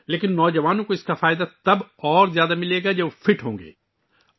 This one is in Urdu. لیکن نوجوانوں کو زیادہ فائدہ تب ہوگا، جب وہ فٹ ہوں گے